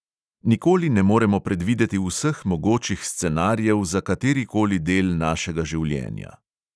Nikoli ne moremo predvideti vseh mogočih scenarijev za kateri koli del našega življenja.